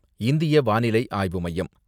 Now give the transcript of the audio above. இந்திய வானிலை ஆய்வு மையம்